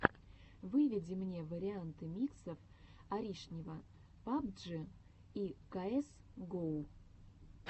выведи мне варианты миксов аришнева пабджи и каэс гоу